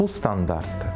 Bu standartdır.